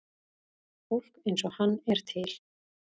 Fólk eins og hann er til.